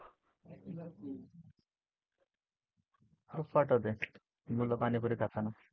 हो पाठवते मुलं पाणीपुरी खाताना.